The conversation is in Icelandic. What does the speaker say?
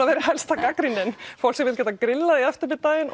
verið helsta gagnrýnin fólk sem vill geta grillað í eftirmiðdaginn